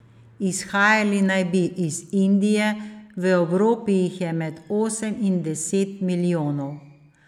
Izhajali naj bi iz Indije, v Evropi jih je med osem in deset milijonov.